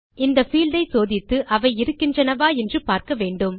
இந்த பீல்ட் ஐ சோதித்து அவை இருக்கின்றனவா என்று பார்க்க வேண்டும்